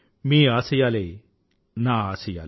మీ ఆశయాలే నా ఆశయాలు